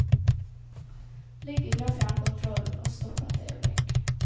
Ligg unna fjernkontrollen og stopp et øyeblikk.